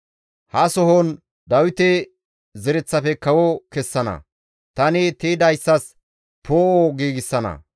«Ha sohon Dawite zereththafe kawo kessana; tani tiydayssas poo7o giigsana.